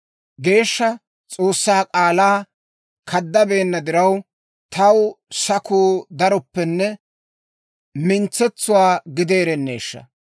Geeshsha S'oossaa k'aalaa kaddabeenna diraw, taw sakuu darooppenne, mintsetsuwaa gideereneshsha.